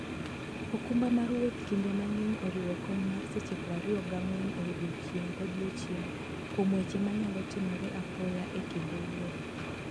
okumba mar wuoth kinde mang'eny oriwo kony mar seche 24 e odiechieng' kodiechieng' kuom weche manyalo timore apoya e kinde wuoth.